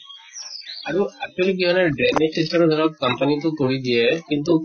আৰু actually কি হয় ন drainage system ও ধৰক company তো কৰি দিয়ে কিন্তু